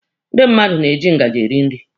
Ndị mmadụ na-eji ngaji eri nri.